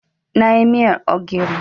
Na yi miyar ogiri.